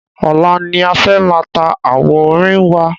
Ọ̀la ni a fẹ́ máa ta àwo orin wa.